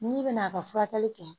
N'i bɛna a ka furakɛli kɛ